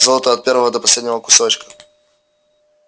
золото от первого до последнего кусочка